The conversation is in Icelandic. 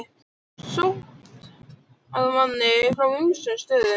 Sótt að manni frá ýmsum stöðum.